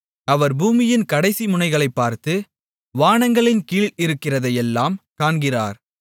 அவர் பூமியின் கடைசிமுனைகளைப் பார்த்து வானங்களின்கீழ் இருக்கிறதையெல்லாம் காண்கிறார்